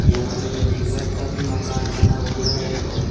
यहां पे मैं देख सकता हूं मकान बना हुआ है और--